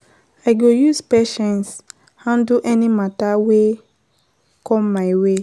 I go use patience handle any mata wey com my way.